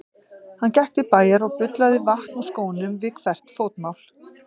Hann gekk til bæjar og bullaði vatn úr skónum við hvert fótmál.